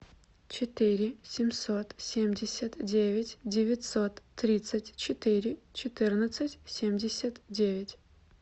четыре семьсот семьдесят девять девятьсот тридцать четыре четырнадцать семьдесят девять